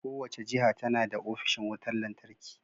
Kowace jiha tana da ofishin wutar lantarki.